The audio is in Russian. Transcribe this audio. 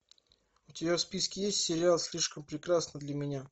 у тебя в списке есть сериал слишком прекрасна для меня